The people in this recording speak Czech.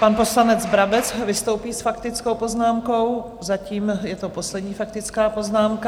Pan poslanec Brabec vystoupí s faktickou poznámkou, zatím je to poslední faktická poznámka.